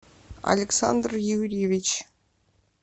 александр юрьевич